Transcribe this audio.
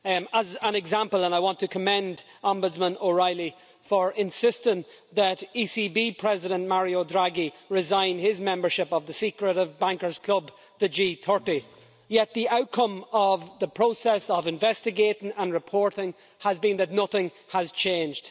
As an example and I want to commend Ombudsman O'Reilly for insisting that ECB President Mario Draghi resign his membership of the secret bankers' club, the G30 the outcome of the process of investigating and reporting has been that nothing has changed.